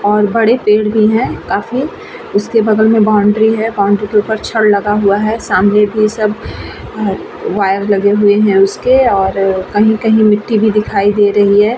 और बड़े पेड़ भी हैं काफी उसके बगल में बाउंड्री है। बाउंड्री के ऊपर छड़ लगा हुआ है। सामने भी सब वायर लगे हुए हैं उसके और कही कही मिटटी भी दिखाई दे रही है।